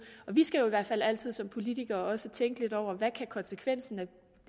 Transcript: og vi skal jo i hvert fald altid som politikere også tænke lidt over hvad konsekvenserne